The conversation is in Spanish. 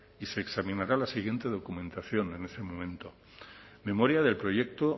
y se examinará la siguiente documentación en ese momento memoria del proyecto